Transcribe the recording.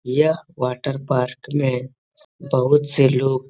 यह water park में बहुत से लोग --